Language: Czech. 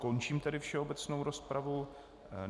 Končím tedy všeobecnou rozpravu.